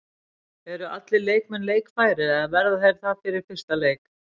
Eru allir leikmenn leikfærir eða verða þeir það fyrir fyrsta leik?